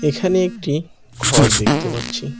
এখানে একটি ঘর দেখতে পাচ্ছি।